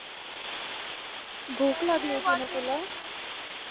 भूक लागली होती ना तुला